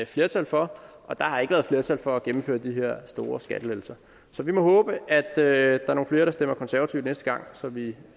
flertal for og der har ikke været flertal for at gennemføre de her store skattelettelser så vi må håbe at der er nogle flere der stemmer konservativt næste gang så vi